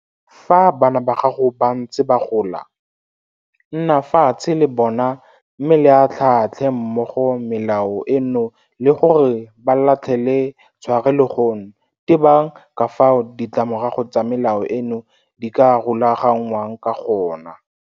Fa bana ba gago ba ntse ba gola, nna fatshe le bona mme le atlhaatlhe mmogo melao eno le gore ba latlhele tlhwarelegong tebang le ka fao ditlamorago tsa melao eno di ka rulaganngwang ka gone.